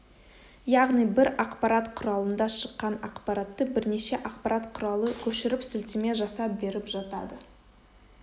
яғни бір ақпарат құралында шыққан ақпаратты бірнеше ақпарат құралы көшіріп сілтеме жасап беріп жатады